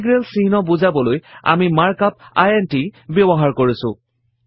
integral চিহ্ন বুজাবলৈ আমি মাৰ্ক আপ ইণ্ট ব্যৱহাৰ কৰিছো